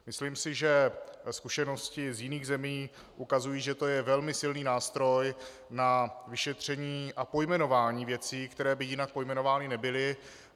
Myslím si, že zkušenosti z jiných zemí ukazují, že to je velmi silný nástroj na vyšetření a pojmenování věcí, které by jinak pojmenovány nebyly.